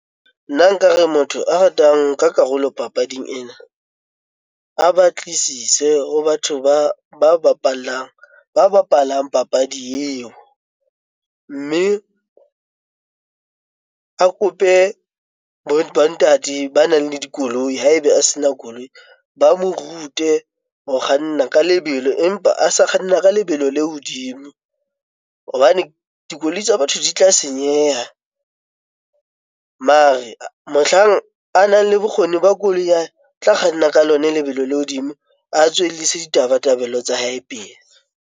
Nna nkare motho a ratang karolo papading ena. A batlisise ho batho ba bapallang, ba bapalang papadi eo. Mme a kope bo ntate ba nang le dikoloi ha ebe a sena koloi. Ba mo rute ho kganna ka lebelo empa a sa kganna ka lebelo le hodimo hobane dikoloi tsa batho di tla senyeha. Mare mohlang a nang le bokgoni ba koloi o tla kganna ka lona lebelo le hodimo, a tswellise ditabatabelo tsa hae pele.